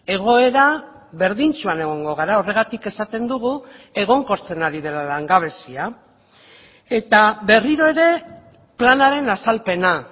egoera berdintsuan egongo gara horregatik esaten dugu egonkortzen ari dela langabezia eta berriro ere planaren azalpena